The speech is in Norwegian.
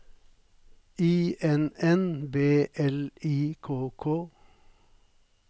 I N N B L I K K